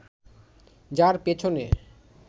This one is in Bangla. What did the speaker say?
যার পেছনে